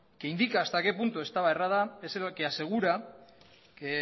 que indica hasta qué punto estaba errada es el que asegura que